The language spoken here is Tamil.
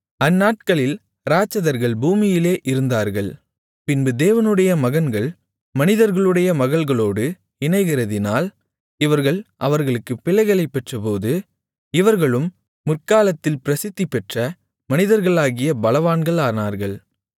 அந்நாட்களில் இராட்சதர்கள் பூமியிலே இருந்தார்கள் பின்பு தேவனுடைய மகன்கள் மனிதர்களுடைய மகள்களோடு இணைகிறதினால் இவர்கள் அவர்களுக்குப் பிள்ளைகளைப் பெற்றபோது இவர்களும் முற்காலத்தில் பிரசித்திபெற்ற மனிதர்களாகிய பலவான்களானார்கள்